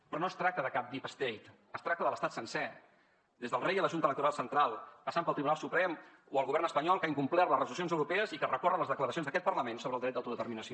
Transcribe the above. però no es tracta de cap deep state es tracta de l’estat sencer des del rei a la junta electoral central passant pel tribunal suprem o el govern espanyol que ha incomplert les resolucions europees i que recorre les declaracions d’aquest parlament sobre el dret d’autodeterminació